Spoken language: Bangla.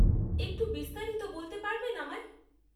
একটু বিস্তারিত বলতে পারবেন আমায়?